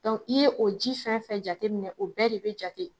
i ye o ji fɛn fɛn jateminɛ o bɛɛ re bɛ jate.